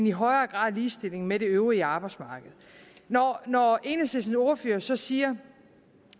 i højere grad en ligestilling med det øvrige arbejdsmarked når når enhedslistens ordfører så siger